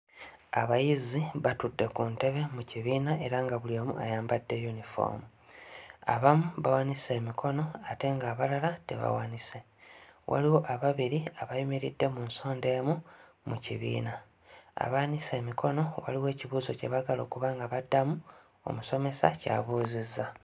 Abayizi batudde ku ntebe mu kibiina era nga buli omu ayambadde yunifoomu. Abamu bawanise emikono ate ng'abalala tebawanise, waliwo ababiri abayimiridde mu nsonda emu mu kibiina. Abawanise emikono waliwo ekibuuzo kye baagala okuba nga baddamu, omusomesa ky'abuuzizza.